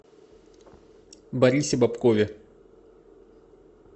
борисе бобкове